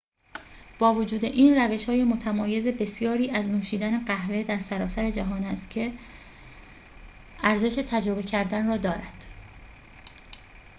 با وجود این روش‌های متمایز بسیاری از نوشیدن قهوه در سراسر جهان هست که ارزش تجربه کردن را دارد